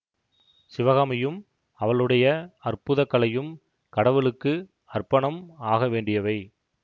சிவகாமியும் அவளுடைய அற்புத கலையும் கடவுளுக்கு அர்ப்பணம் ஆக வேண்டியவை